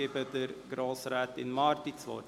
– Ich erteile Grossrätin Marti das Wort.